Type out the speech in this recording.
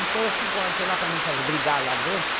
Então, às cinco horas eu estou lá para não fazer brigar lá dentro.